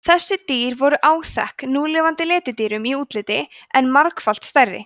þessi dýr voru áþekk núlifandi letidýrum í útliti en margfalt stærri